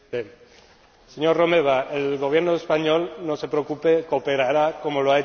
Señor Romeva, el Gobierno español no se preocupe cooperará, como lo ha hecho siempre.